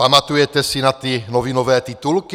Pamatujete si na ty novinové titulky?